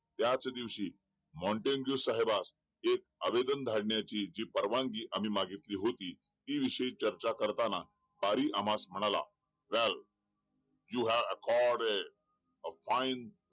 त्याच दिवशी मॉन्टेस्क्यू साहेबांस एक आवेदन धाडण्याची एक परवानगी आम्ही जी मागितली होती ती विषयी चर्चा करताना पारी आम्हाला म्हणाला यु हॅव्ह आकॉर्डिंग ऑफ ऑईन